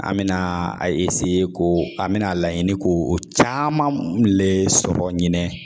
An mɛna a ko an bɛna a laɲini k'o o caman le sɔrɔ ɲinɛ